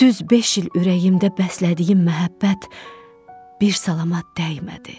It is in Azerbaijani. Düz beş il ürəyimdə bəslədiyim məhəbbət bir salama dəymədi.